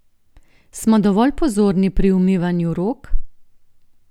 Smo dovolj pozorni pri umivanju rok?